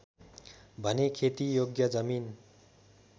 भने खेतीयोग्य जमिन